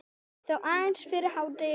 Þó aðeins fyrir hádegi.